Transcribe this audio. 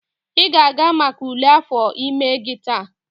ị ga-aga maka ule afọ ime gị taa?